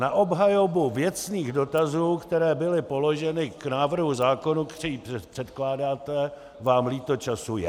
Na obhajobu věcných dotazů, které byly položeny k návrhu zákona, který předkládáte, vám líto času je.